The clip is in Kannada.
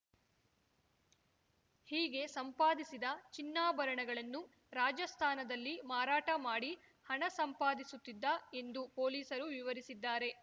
ಹೀಗೆ ಸಂಪಾದಿಸಿದ ಚಿನ್ನಾಭರಣಗಳನ್ನು ರಾಜಸ್ಥಾನದಲ್ಲಿ ಮಾರಾಟ ಮಾಡಿ ಹಣ ಸಂಪಾದಿಸುತ್ತಿದ್ದ ಎಂದು ಪೊಲೀಸರು ವಿವರಿಸಿದ್ದಾರೆ